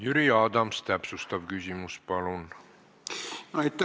Jüri Adams, täpsustav küsimus, palun!